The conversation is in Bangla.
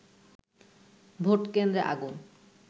ভোটকেন্দ্রে আগুন